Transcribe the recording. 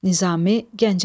Nizami Gəncəvi.